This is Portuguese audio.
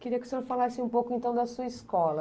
Queria que o senhor falasse um pouco, então, da sua escola.